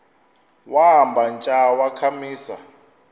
wamba tsha wakhamisa